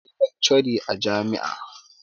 akwai laccori a jami`a